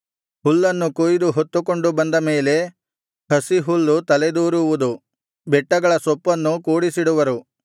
ಹುಲ್ಲನ್ನು ಕೊಯ್ದು ಹೊತ್ತುಕೊಂಡು ಬಂದ ಮೇಲೆ ಹಸಿಹುಲ್ಲು ತಲೆದೋರುವುದು ಬೆಟ್ಟಗಳ ಸೊಪ್ಪನ್ನೂ ಕೂಡಿಸಿಡುವರು